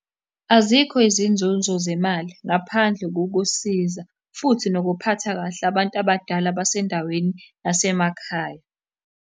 Azikho izinzunzo zemali ngaphandle kokusiza, futhi nokuphatha kahle abantu abadala basendaweni yasemakhaya.